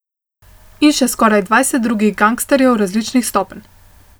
In še skoraj dvajset drugih gangsterjev različnih stopenj.